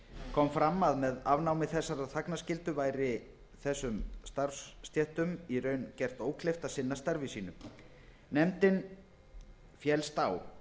kom fram að með afnámi þessarar þagnarskyldu væri þessum starfsstéttum í raun gert ókleift að sinna starfi sínu allsherjarnefndin fellst á